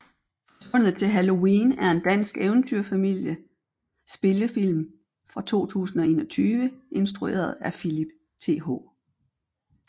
Forsvundet til Halloween er en dansk eventyr familie spillefilm fra 2021 instrueret af Philip Th